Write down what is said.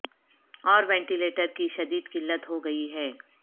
اور ventilator کی شدید قلت ہو گئی ہے